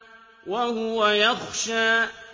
وَهُوَ يَخْشَىٰ